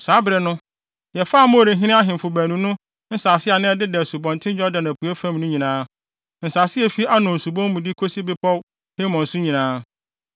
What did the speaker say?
Saa bere no, yɛfaa Amorifo ahemfo baanu no nsase a na ɛdeda Asubɔnten Yordan apuei fam no nyinaa; nsase a efi Arnon subon mu de kosi bepɔw Hermon so nyinaa.